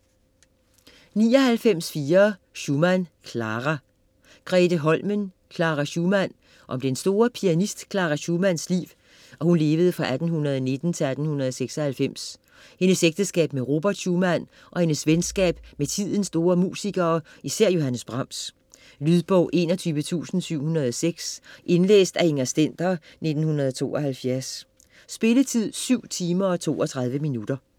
99.4 Schumann, Clara Holmen, Grethe: Clara Schumann Om den store pianist Clara Schumanns liv (1819-1896), hendes ægteskab med Robert Schumann og hendes venskab med tidens store musikere, især Johannes Brahms. Lydbog 21706 Indlæst af Inger Stender, 1972. Spilletid: 7 timer, 32 minutter.